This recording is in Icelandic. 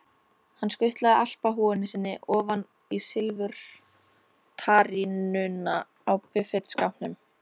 Hann skutlaði alpahúfunni sinni ofan í silfurtarínuna á buffetskápnum.